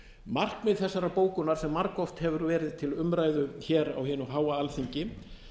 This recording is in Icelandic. markmið þessarar bókunar sem margoft hefur verið til umræðu hér á hinu háa alþingi